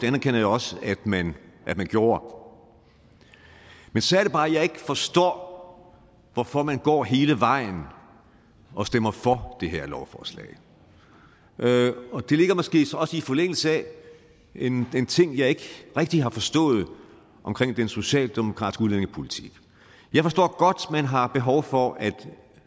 anerkender jeg også at man gjorde men så er det bare at jeg ikke forstår hvorfor man går hele vejen og stemmer for det her lovforslag og det ligger måske også i forlængelse af en ting jeg ikke rigtig har forstået ved den socialdemokratiske udlændingepolitik jeg forstår godt at man har behov for at